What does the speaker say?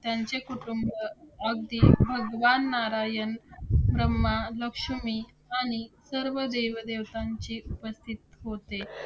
त्यांचे कुटुंब, अगदी भगवान नारायण, ब्रह्मा, लक्ष्मी आणि सर्व देवदेवतांची उपस्थित होते.